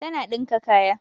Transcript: Tana dinka kaya